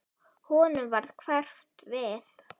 Honum varð hverft við.